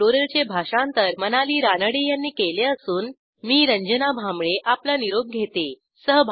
ह्या ट्युटोरियलचे भाषांतर मनाली रानडे यांनी केले असून मी रंजना भांबळे आपला निरोप घेते